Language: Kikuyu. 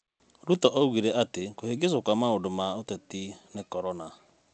Ruto oigire atĩ kũhĩngĩcwo kwa maũndũ ma ũteti nĩ korona,